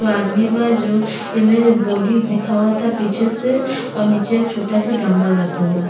एगो आदमी बा जो एमें बॉडी दिखावता पीछे से और नीचे छोटा सा डंबल रखल बा।